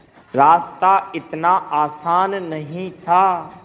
रास्ता इतना आसान नहीं था